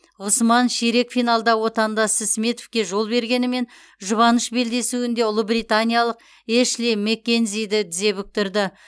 ғұсман ширек финалда отандасы сметовке жол бергенімен жұбаныш белдесуінде ұлыбританиялық эшли маккензиді тізе бүктірді